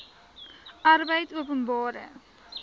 arbeidopenbare